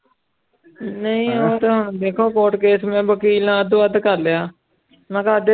ਨਹੀਂ ਉਹ ਤੇ ਹੁਣ ਵੇਖੋ ਕੋਰਟ ਕੇਸ ਮੈਂ ਵਕੀਲ ਨਾਲ ਅੱਧੋ ਅੱਧ ਕਰ ਲਿਆ ਮੈਂ ਕਿਹਾ ਅੱਧੇ